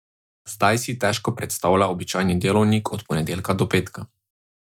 Zdaj si težko predstavlja običajni delovnik od ponedeljka do petka.